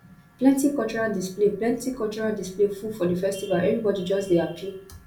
plenty cultural display plenty cultural display full for di festival everybodi just dey hapi